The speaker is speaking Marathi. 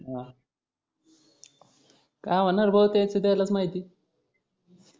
अं काय होणार आहे भो त्यांच त्याला माहिती.